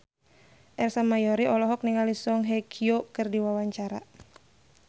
Ersa Mayori olohok ningali Song Hye Kyo keur diwawancara